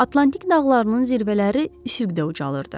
Atlantik dağlarının zirvələri üfüqdən ucalırdı.